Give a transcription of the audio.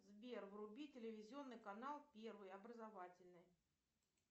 сбер вруби телевизионный канал первый образовательный